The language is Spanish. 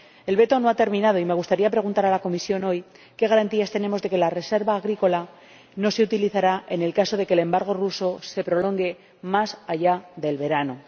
El veto no ha terminado y me gustaría preguntar a la Comisión, hoy, qué garantías tenemos de que la reserva agrícola no se utilizará en el caso de que el embargo ruso se prolongue más allá del verano.